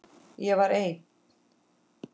Ég var einn.